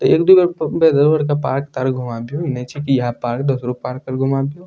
एक दु बेर पार्क तार्क घुमा फिरु नीचे ही ह पार्क दुसरो पार्क घुमा दियो --